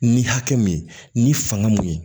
Ni hakɛ min ye ni fanga mun ye